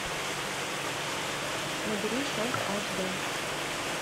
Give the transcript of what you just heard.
набери шелк аш д